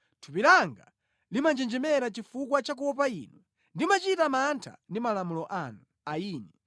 Thupi langa limanjenjemera chifukwa cha kuopa Inu; ndimachita mantha ndi malamulo anu.